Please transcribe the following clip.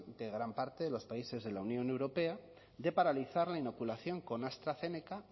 de gran parte de los países de la unión europea de paralizar la inoculación con astrazeneca